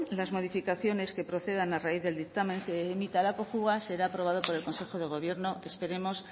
las modificaciones que procedan a raíz del dictamen que emita la cojua será aprobado por el consejo de gobierno esperemos